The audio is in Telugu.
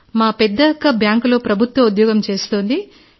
మా పెద్ద అక్క బ్యాంకులో ప్రభుత్వ ఉద్యోగం చేస్తుంది